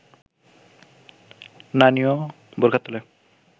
নানিও বোরখার তলে